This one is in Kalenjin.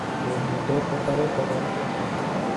Kimito kotare kobare